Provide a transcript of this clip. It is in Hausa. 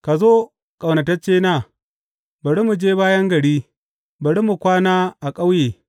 Ka zo, ƙaunataccena, bari mu je bayan gari, bari mu kwana a ƙauye.